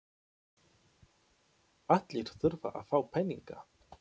Allir þurfa að fá peninga.